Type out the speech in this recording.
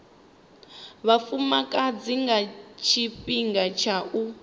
vhafumakadzi nga tshifhinga tsha u